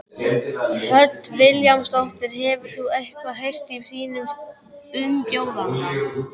Hödd Vilhjálmsdóttir: Hefur þú eitthvað heyrt í þínum umbjóðanda?